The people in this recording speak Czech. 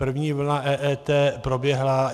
První vlna EET proběhla.